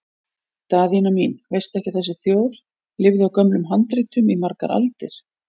Daðína mín, veistu ekki að þessi þjóð lifði á gömlum handritum í margar aldir?